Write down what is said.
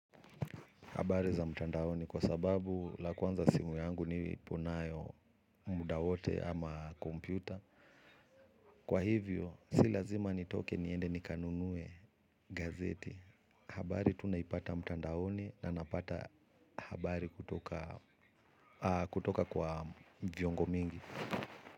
Habari za mtandaoni kwa sababu la kwanza simu yangu nilipo nayo muda wote ama kompyuta. Kwa hivyo, si lazima nitoke niende nikanunuwe gazeti. Habari tunaipata mtandaoni na napata habari kutoka kutoka kwa viongo mingi.